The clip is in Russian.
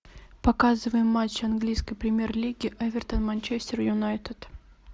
показывай матч английской премьер лиги эвертон манчестер юнайтед